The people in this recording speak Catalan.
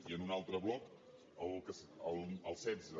i en un altre bloc el setze